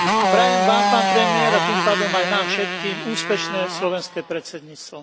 Prajem Vám, pán premiér, a tým pádom aj nám všetkým, úspešné slovenské predsedníctvo.